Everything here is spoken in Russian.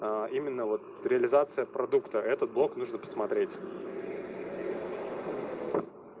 именно вот реализация продукта этот блок нужно посмотреть